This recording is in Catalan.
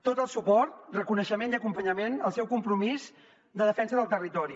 tot el suport reconeixement i acompanyament al seu compromís de defensa del territori